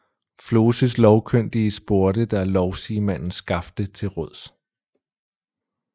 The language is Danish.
Floses lovkyndige spurgte da lovsigemanden Skafte til råds